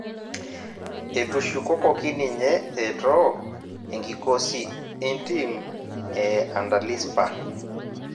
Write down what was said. Etushukokoki ninye etoo enkikosi entim e antalispa